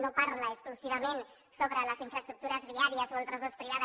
no parla exclusivament sobre les infraestructures viàries o el transport privat